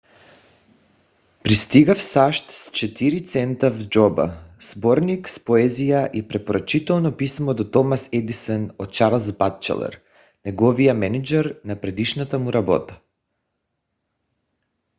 пристига в сащ с 4 цента в джоба сборник с поезия и препоръчително писмо до томас едисън от чарлз батчелър неговия мениджър на предишната му работа